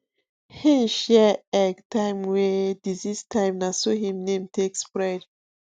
hin share egg time wey disease time na so him name take spread